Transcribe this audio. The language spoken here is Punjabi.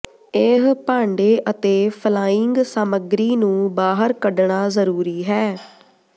ਇਹ ਭਾਂਡੇ ਅਤੇ ਫਲਾਇੰਗ ਸਾਮੱਗਰੀ ਨੂੰ ਬਾਹਰ ਕੱਢਣਾ ਜ਼ਰੂਰੀ ਹੈ